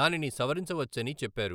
దానిని సవరించవచ్చని చెప్పారు.